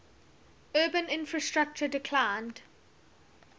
urban infrastructure declined